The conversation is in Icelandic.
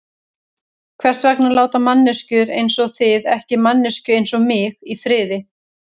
Hvers vegna láta manneskjur einsog þið ekki manneskju einsog mig í friði?